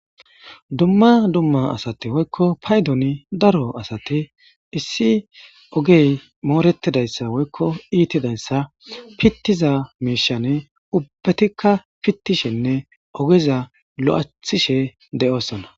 dumma dumma asati woykko paydoni daro asati issi ogey mooretidayssa woykko iitidayssa pittiza miishane ubbatikka pittishenne ogeza lo7athishe de7oosona.